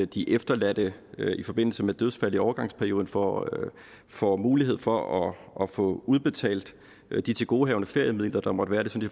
de efterladte i forbindelse med dødsfald i overgangsperioden får får mulighed for at få udbetalt de tilgodehavende feriemidler der måtte være det synes